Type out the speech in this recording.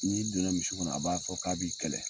N'i donna misi kɔnɔ a b'a fɔ k'a b'i kɛlɛ.